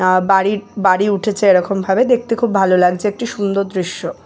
আহ বাড়ি বাড়ি উঠেছে এরকম ভাবে দেখতে খুব ভালো লাগছে একটি সুন্দর দৃশ্য।